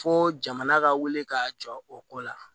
Fo jamana ka wele ka jɔ o ko la